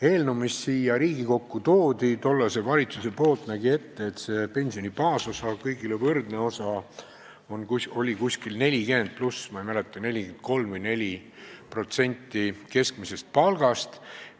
Eelnõu, mille tollane valitsus Riigikokku tõi, nägi ette, et pensioni baasosa, kõigile võrdne osa, on 40+, ma ei mäleta, 43% või 44% keskmisest palgast.